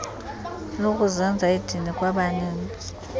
lokuzenza idini kwabaninzi